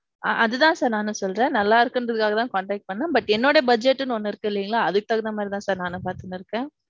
அது தான் sir நானும் சொல்றேன். நல்ல இருக்குங்குறதுக்காக தான் contact பண்றேன். But என்னோட budget ன்னு ஒன்னு இல்லீங்களா. அதுக்கு தகுந்த மாதிரி தான் sir நானும் பாதுன்னு இருக்கேன்.